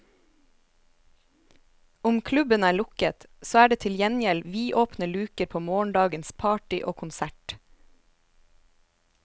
Om klubben er lukket, så er det til gjengjeld vidåpne luker på morgendagens party og konsert.